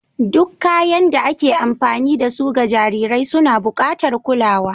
Duk kayan da ake amfani da su ga jarirai suna buƙatar kulawa.